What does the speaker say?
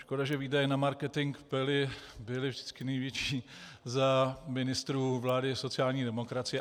Škoda, že výdaje na marketing byly vždycky největší za ministrů vlády sociální demokracie.